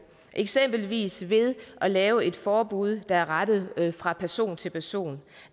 eksempelvis ved at lave et forbud der er rettet fra person til person